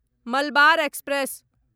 Malabar express